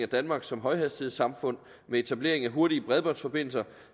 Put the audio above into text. danmark som højhastighedssamfund med etablering af hurtige bredbåndsforbindelser